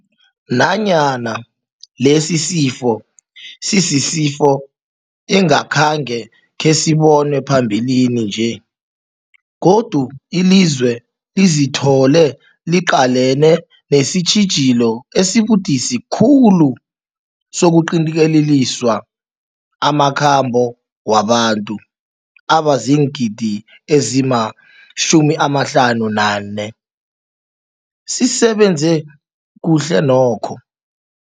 Nanyana lesisifo sisisifo engakhange khesibonwe phambilini nje, godu ilizwe lizithole liqalene nesitjhijilo esibudisi khulu sokuqintelisa amakhambo wabantu abaziingidi ezima-58, sisebenze kuhle nokho.